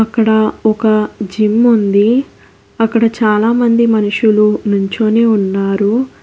ఇక్కడ ఒక జిమ్ ఉంది అక్కడ చాలామంది మనుషులు నుంచోని ఉన్నారు.